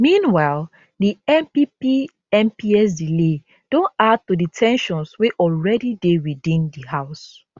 meanwhile di npp mps delay don add to di ten sions wey already dey within di house